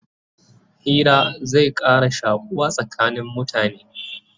Hira zai Ƙara shakuwa tsakanin mutane